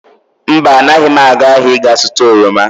Mba, anaghị m aga ahịa ị ga-zụta oroma.